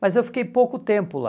Mas eu fiquei pouco tempo lá.